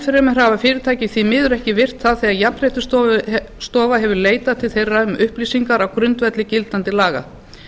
fremur hafa fyrirtæki því miður ekki virt það þegar jafnréttisstofa hefur leitað til þeirra um upplýsingar á grundvelli gildandi laga